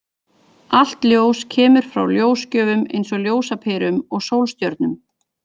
Allt ljós kemur frá ljósgjöfum, eins og ljósaperum og sólstjörnum.